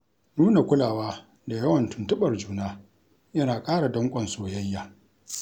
Nuna kulawa da yawan tuntuɓar juna, yana ƙara danƙon soyayya.